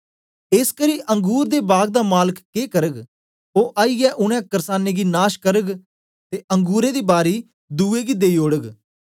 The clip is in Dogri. एसकरी अंगुर दे बाग दा मालक के करग ओ आईयै उनै कर्सानें गी नाश करग ते अंगुरें दी बारी दुए गी देई ओड़ग